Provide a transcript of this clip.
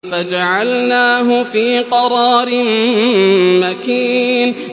فَجَعَلْنَاهُ فِي قَرَارٍ مَّكِينٍ